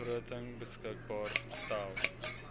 begroting beskikbaar gestel